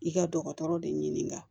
I ka dɔgɔtɔrɔ de ɲini ka